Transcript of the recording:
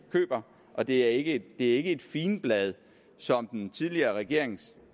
køber og det er ikke ikke et figenblad som den tidligere regerings